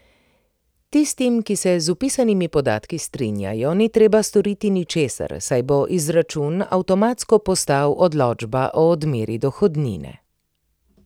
Tistim, ki se z vpisanimi podatki strinjajo, ni treba storiti ničesar, saj bo izračun avtomatsko postal odločba o odmeri dohodnine.